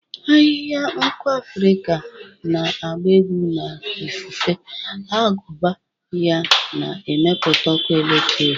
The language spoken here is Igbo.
Ahịhịa nku Afrika na-agba egwu na ifufe, agụba ya na-emepụta ọkụ eletrik.